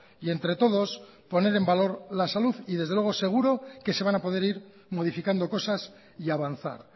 y entre todos poner en valor la salud y desde luego seguro que se van a poder ir modificando cosas y avanzar